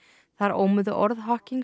þar ómuðu orð